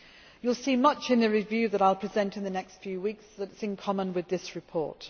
You will see much in the review that I will present in the next few weeks that is in common with this report.